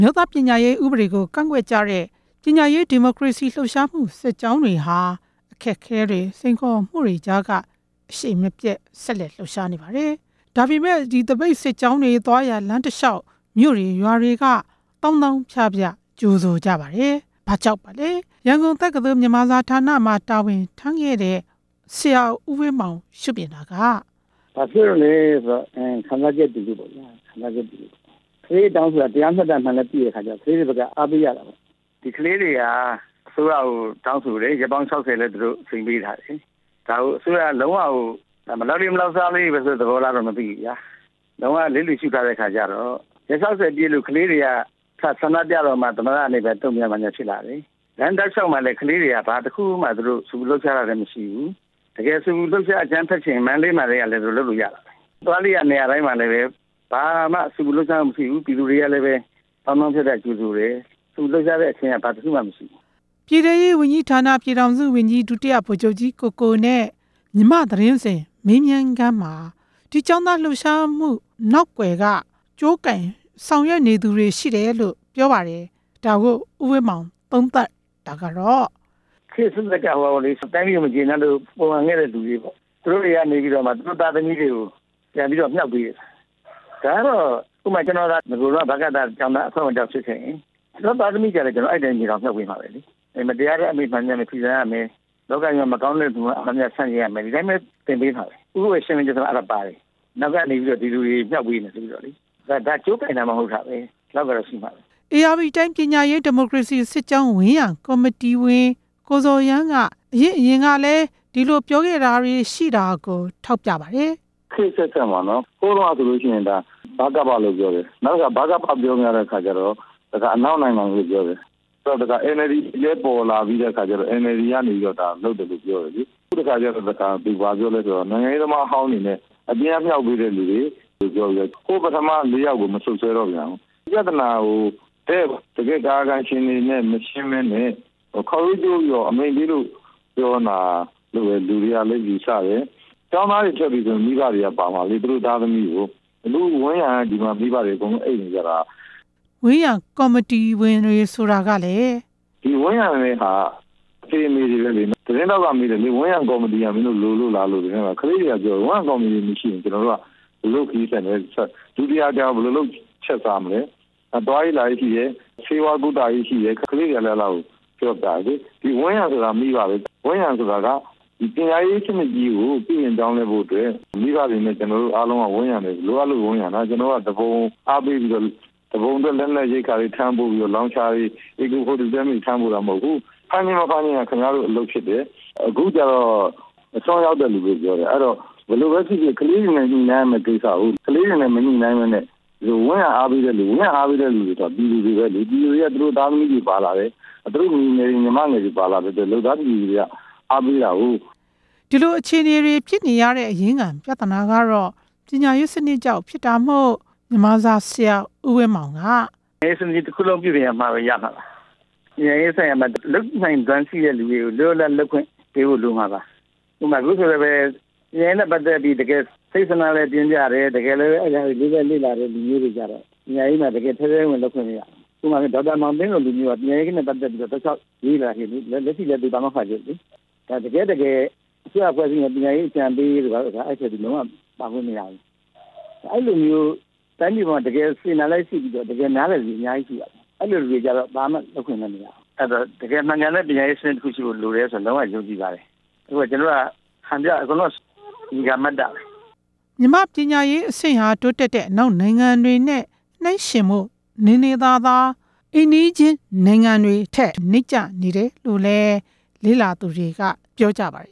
ျိုးသားပညာရေးဥပဒေကိုကန့်ကွက်ကြတဲ့ ပညာရေးဒီမိုကရေစီလှုပ်ရှားမှု စစ်ကြောင်းတွေဟာ အခက်အခဲတွေ၊ စိန်ခေါ်မှုတွေကြားက အရှိန်မပြတ် ဆက်လက်လှုပ်ရှားနေပါတယ်၊ ဒါပေမယ့် ဒီသပိတ်စစ်ကြောင်းတွေ သွားရာ လမ်းတလျှောက် မြိုကတွေရွာတွေက သောင်းသောင်းဖျဖျ ကြိုဆိုကြပါတယ်။ ဘာကြောင့်ပါလဲ ရန်ကုန်တက္ကသိုလ်မြန်မာဌါနမှာ တာဝန်ထမ်းခဲ့တဲ့ ဆရာဦးဝင်းမောင် ရှုမြင်တာက ဘာဖြစ်လို့လဲဆိုတော့ ခံစားချက်တွေပေါ့ဗျာ၊ ကလေးတွေတောင်းဆိုတာ တရာမျှတပါမှန်းလည်း သိတဲ့အခါကျတော် ကလေးတွေဘက်က အားပေးကြတာပေါ့၊ ဒီကလေးတွေဟာ အစိုးရကို တောင်းဆိုတယ်၊ ရက်ပေါင် ၆ဝ လည်းသူတို့ အချိန်ပေးထားတယ်လေ၊ ဒါကို အစိုးရက လုံးဝကို မလောက်လေးမလောက်စားလေးတွေပဲဆိုတဲ့ သဘောထားလား မသိပါဘူးဗျာ၊ လုံးဝလစ်လျှူရှုထားတဲ့အခါကျတော့ ရက် ၆ဝ ပြည့်လို့ ကလေးတွေက စဆန္ဒပြတဲ့အခါတော့မှ သမ္မတကနေပဲ တုန့်ပြန်ဘာညာဖြစ်လာတယ်လေ၊ လမ်းတလျှောက်မှာလည်း ကလေးတွေက ဘာတစ်ခုမှသူတို့ ဆူပူလှုပ်ရှားတာလည်းမရှိဘူး၊ တကယ်ဆူပူလှုရှား အကြမ်းဖက်ချင်ရင် မန္တလေးမှာတည်းက သူတို့လုပ်လို့ရပါတယ်၊ မန္တလေးက နေရာတိုင်းမှာလည်း ဆူပူလှုပ်ရှားမှု မရှိဘူး၊ ပြည်သူတွေကလည်း သောင်းသောင်းဖျဖျကြိုဆိုတယ်၊ ဆူပူလှုပ်ရှားတာ ဘာတစ်ခုမှမရှိဘူး။ ပြည်ထဲရေးဝန်ကြီးဌါန ပြည်ထောင်စုဝန်ကြီး ဒုတိယဗိုလ်ချုပ်ကြီး ကိုကိုနဲ့ မြန်မာ့သတင်းစဉ် မေးမြန်းခန်းမှာ ဒီကျောင်းသားလှုပ်ရှားမှု နောက်ကွယ်ကဆောင်ရွက်နေသူတွေ ရှိတယ်လို့ပြောပါတယ်၊ ဒါကို ဦးဝင်းမောင် သုံးသပ်တာကတော့ ခေတ်အဆက်ဆက်ကပေါ့လေ တိုင်းပြည်ကိုမကျေနပ်လို့ ပုန်ကန်ခဲ့တဲ့လူတွေပေါ့၊ သူတို့ တွေကနေပြီးတော့မှ သူတို့သားသမီးတွေကို ပြန်ပြီးတော့မြှောက်ပေးတယ်၊ ဒါကတော့ ကျနော်သာ နဂိုက တည်းက ဗကသ ကျောင်းသားအဖွဲ့ဝင်တစ်ယောက်ဖြစ်ခဲ့ရင် ကျနော်သားသမီးတွေကိုလည်း ကျနော်ကအဲ့အ တိုင်း မြေတောင်မြှောက်ပေးနေမှာပဲလေ၊ မတရားတဲ့တာတွေကို ဖီဆန်ရမယ်၊ လောကကြီးမှာ မကောင်းတဲ့အရာ မှန်သမျှ ဆန့်ကျင်ရမယ်၊ ဒီအတိုင်းပဲ သင်ပေးမှာပဲ၊ သူတို့ပဲရှင်းလင်းချက်ထဲမှာ အဲ့ဒါတွေပါတယ်၊ နောက်ကနေပြီး ဒီလူတွေမြှောက်ပေးနေတယ် ဆိုပြီးတော့လေ၊ ဒါကြိုးကိုင်တာမှ မဟုတ်တာပဲ။ ဧရာဝတီတိုင်း ပညာရေးဒီမိုကရေစီစစ်ကြောင်း ဝန်းရံကော်မတီဝင် ကိုဇော်ရန်းက အရင်ကလည်း ဒီလိုပြောခဲ့ တာတွေရှိတာကို ထောက်ပြပါတယ်။ ခေတ်အဆက်ဆက်မှာနော် ဟိုးတုန်းကဆိုလို့ရှိရင် ဒါ ဗကပလို့ပြောတယ်၊ နောက်တစ်ခါ ဗကပ ပြောလို့မရတဲ့အခါကျတော့ တစ်ခါအနောက်နိုင်ငံတွေလို့ပြောတယ်၊ NLD လည်း ပေါ်လာတဲ့အခါကျတော့ NLD က ဒါလုပ်တယ်လို့ပြောတယ်လေ၊ အခုတစ်ခါကျတော့ သူဘာပြောလဲဆိုတော့ နိုင်ငံရေးသမားဟောင်းတွေနဲ့ အပြင်ကမြှောက်ပေးတဲ့သူတွေလို့ ပြောပြီးတော့ ကိုယ့်ပထမ ၄ ယောက်ကို မစပ်စွဲတော့ပြန်ဘူး၊ ပြဿနာကို ဒဲ့တကယ့် ကာယကံရှင်တွေနဲ့ မရှင်းပဲနဲ့ ခေါက်ရိုးကျိုးပြီးတော့ အမိန့်ပေးပြီးတော့ပြောနေတာလို့ပဲ လူတွေကလည်းပဲ ယူဆ တယ်၊ ကျောင်းသားတွေထွက်ပြီဆို မိဘတွေကပါမှာပဲလေ၊ သူတို့ သားသမီးတွေကိုး။ ဝန်းရံကော်မတီဝင်တွေဆိုတာကလည်း ဒီဝန်းရံတာဟာ အဖေ၊ အမေတွေပဲလေ၊ သတင်းထောက်ကမေးတယ် ဒီဝန်းရံကော်မတီက လိုလို့လားလို့မေးတယ်၊ ကလေးတွေကပြောတယ် ဝန်းရံကော်မတီမရှိရင် ကျနော်တို့က ဘယ်လိုလုပ်ခရီးဆက်မလဲပေါ့၊ ဘယ်လိုလုပ်ချက်စားမလဲ၊ သွားရေးလာရေးရှိတယ်၊ ဆေးဝါးကုသရေးရှိတယ်၊ ကလေးတွေကလည်း အဲ့ဒါတွေပြောပြတယ်၊ ဝန်းရံဆိုတာက ပညာရေး ပြုပြင်ပြောင်လဲရေးဖို့အတွက် မိဘတွေနဲ့ ကျနော်တို့အားလုံးက ဝန်းရံပဲ၊ လိုအပ်လို့ ဝန်းရံတာ ကျနော်က သူပုန်အားပေးပြီးတော့ သူပုန်အတွက် လက်နက် ရိက္ခာတွေ ထမ်းပိုးပြီးတော့ လောင်ချာတွေ ထမ်းပိုးနေတာမဟုတ်ဘူး၊ အခုကျတော့ အစွန်းရောက်တဲ့လူတွေပြော တယ်၊ ဘယ်လိုပဲဖြစ်ဖြစ် ကလေးတွေနဲ့ ညှိနှိုင်းရမယ့်ကိစ္စကို ကလေးတွေနဲ့ မညှိနှိုင်းပဲနဲ့ ဝန်းရံအားပေးတဲ့ လူတွေ ပြည်သူတွေပဲလေ၊ ပြည်သူတွေက သူတို့သားသမီးတွေပါလာတယ်၊ သူတို့ညီငယ်တွေ ညီမငယ်တွေ ပါလာတယ်၊ လုပ်သားပြည်သူတွေက အားပေးတာ။ ဒီလိုအခြေအနေတွေ ဖြစ်နေရတဲ့အရင်းခံ ပြဿနာကတော့ ပညာရေးစနစ်ကြောင့်ဖြစ်တာမို့ မြန်မာစာဆရာ ဦးဝင်းမောင်က နည်းစနစ်တစ်ခုလုံး ပြုပြင်မှရမှာပါ၊ ပညာရေးဆိုင်ရာမှာ လုပ်နိုင်စွမ်းရှိတဲ့သူတွေကို လွတ်လွတ်လပ်လပ် လုပ်ခွင့်ပေးဖို့လိုမှာပါ၊ ဥပမာ အခုဆိုရင်လည်း ပညာရေးနဲ့ပတ်သက်ပြီး တကယ်စိတ်ဆန္ဒ လည်း ပြင်းပြတယ်၊ တကယ်ပဲအဲ့ဒီအတွက် သုံးသပ်လေ့လာတဲ့ သူတွေကျတော့ ပညာရေးမှာ တကယ် ထဲထဲ ဝင်ဝင်ပဲဖြစ်နေရမယ်၊ ဥပမာ ဒေါက်တာ မောင်သိန်းလွင် ဆိုတဲ့လူမျိုးဟာ ပညာရေးနဲ့ပတ်သက် ပြီးတော့ တောက်လျောက်လေ့လာနေတယ်၊ လက်ရှိလည်း သူပါမောက္ခချုပ်လေ၊ တကယ့်တကယ် အစိုးရအဖွဲ့ အစည်းက ပညာရေးအကြံပေးတို့မှာ လုံးဝပါလို့မရဘူး၊ အဲ့လိုမျိုး တိုင်းပြည်မှာ တကယ်စေတနာလည်းရှိပြီးတော့ တကယ်နားလည်တဲ့လူတွေ အများကြီးရှိပါတယ်၊ အဲ့လိုလူတွေကျတော့ ဘာမှလုပ်ခွင့်မရကြဘူး၊ အဲ့ဒီတော့ တကယ်မှန်ကန်တဲ့ပညာရေးစနစ် ရှိဖို့လိုတယ်ဆိုတာ လုံဝယုံကြည်ပါတယ်၊ အခုဟာ ကျနော်တို့ဟာဟန်ပြ အကုန်လုံက နေရာမတ်တပ်ပဲ။ မြန်မာ့ပညာရေးစနစ်ဟာ တိုးတက်တဲ့ အနောက်နိုင်ငံတွေနဲ့ နှိုင်းယှဉ်ဖို့နေနေသာသာ အိမ်နီးချင်းနိုင်ငံတွေထက် နိမ့်ကျနေတယ်လို့လည်း လေ့လာသူတွေက ပြောကြပါ